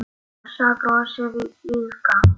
Ása brosir líka.